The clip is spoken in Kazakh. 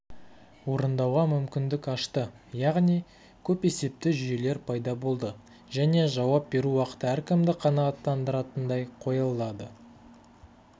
орындауға мүмкіндік ашты яғни көпесепті жүйелер пайда болды және жауап беру уақыты әркімді қанағаттандыратындай қойылады